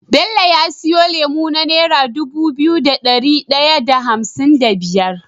Bello ya siyo lemo na naira Dubu biyu da dari daya da hamsin da biyar